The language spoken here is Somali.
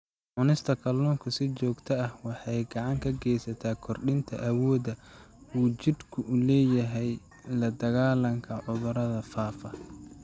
Cunista kalluunka si joogto ah waxay gacan ka geysataa kordhinta awoodda uu jidhku u leeyahay la-dagaallanka cudurrada faafa.